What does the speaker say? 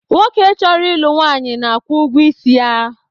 Nwoke chọrọ ịlụ nwanyị na-akwụ ụgwọ isi ya.